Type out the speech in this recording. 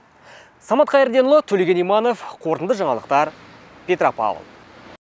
самат қайырденұлы төлеген иманов қорытынды жаңалықтар петропавл